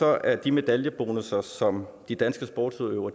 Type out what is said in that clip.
er de medaljebonusser som de danske sportsudøvere